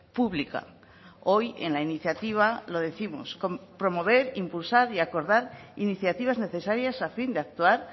pública hoy en la iniciativa lo décimos promover impulsar y acordar iniciativas necesarias a fin de actuar